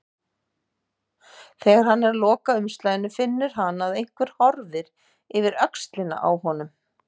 Þegar hann er að loka umslaginu finnur hann að einhver horfir yfir öxlina á honum.